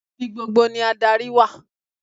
Ibi gbogbo ni adarí wà.